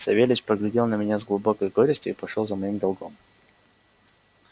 савельич поглядел на меня с глубокой горестью и пошёл за моим долгом